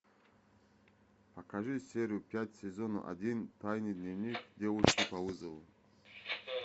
покажи серию пять сезон один тайный дневник девушки по вызову